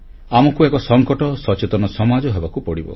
ଆମକୁ ଏକ ସଂକଟ ସଚେତନ ସମାଜ ହେବାକୁ ପଡ଼ିବ